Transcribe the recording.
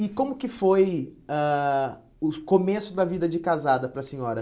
E como que foi ãh o começo da vida de casada para a senhora?